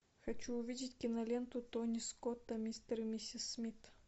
хочу увидеть киноленту тони скотта мистер и миссис смит